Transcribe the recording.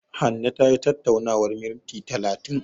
Hanne tayi tattaunawar minti talatin.